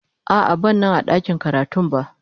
A'a, ban Nan a dakin karatun ba.